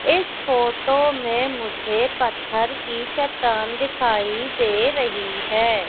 इस फोटो में मुझे पत्थर की चट्टान दिखाई दे रहीं हैं।